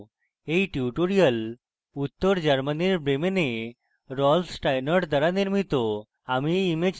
এই টিউটোরিয়াল উত্তর germany bremen rolf steinort দ্বারা নির্মিত